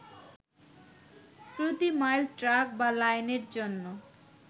প্রতি mile track বা লাইনের জন্য